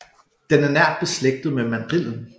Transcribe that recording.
Den er nært beslægtet med mandrillen